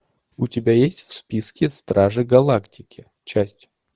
у тебя есть в списке стражи галактики часть